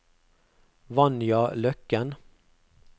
Vanja Løkken